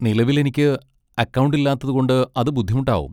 നിലവിൽ എനിക്ക് അക്കൗണ്ട് ഇല്ലാത്തതുകൊണ്ട് അത് ബുദ്ധിമുട്ടാവും.